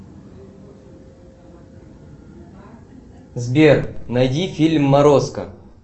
сбер найди фильм морозко